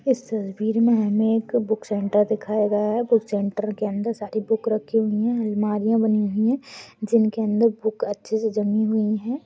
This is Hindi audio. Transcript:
इस तस्वीर मे हमे एक बूक सेंटर दिखाया गया है बूक सेंटर के अंदर सारी बुक रखी हुई है अल्मारिया बनी हुई है जिनके अंदर बुक अच्छे से जमी हुई है।